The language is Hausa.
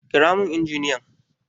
Kira min injiniyan!